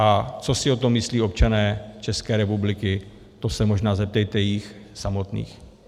A co si o tom myslí občané České republiky, to se možná zeptejte jich samotných.